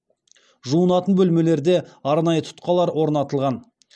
жуынатын бөлмелерде арнайы тұтқалар орнатылған